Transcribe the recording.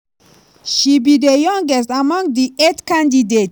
she be di youngest among di eight candidates.